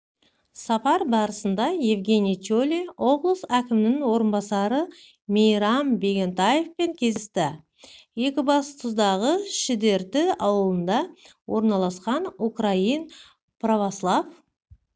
сапар барысында евгений чолий облыс әкімінің орынбасары мейрам бегентаевпен кездесті екібастұздағы шідерті ауылында орналасқан украин православ